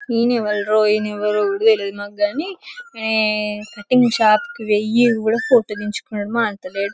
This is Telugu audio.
ఈయనే రోహిణి ఎవరో కూడా తెల్వదు మాకు గని కటింగ్ షాపుకి పోయి కూడా ఫోటో దినుకున్నాడు మా అంత లేదు.